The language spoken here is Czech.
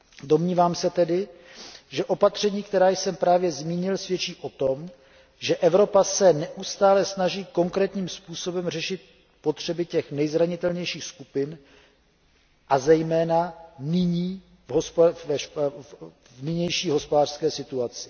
Domnívám se tedy, že opatření, která jsem právě zmínil, svědčí o tom, že Evropa se neustále snaží konkrétním způsobem řešit potřeby těch nejzranitelnějších skupin, a zejména v nynější hospodářské situaci.